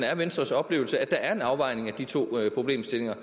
er venstres oplevelse at der er en afvejning af de to problemstillinger